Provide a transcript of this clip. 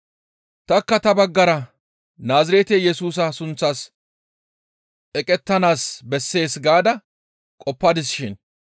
«Tanikka ta baggara Naazirete Yesusa sunththas eqettanaas bessees gaada qoppadis shin;